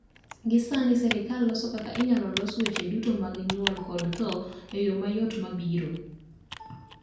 gi sani serkal loso kaka inyalo los weche duto mag nyuol kod tho eyo ma yot go ma biro